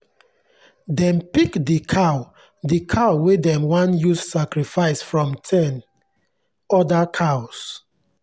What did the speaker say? dem pick the cow the cow wey dem wan use sacrifice from ten other cows.